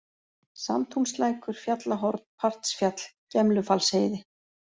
Samtúnslækur, Fjallahorn, Partsfjall, Gemlufallsheiði